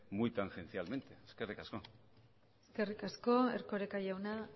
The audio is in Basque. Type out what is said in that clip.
muy tangencialmente eskerrik asko eskerrik asko erkoreka jauna